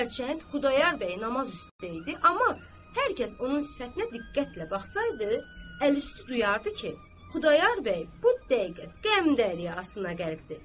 Hərçənd Xudayar bəy nazist deyildi, amma hər kəs onun sifətinə diqqətlə baxsaydı, əl üstü duyardı ki, Xudayar bəy bu dəqiqə qəm dəryasına qərqdir.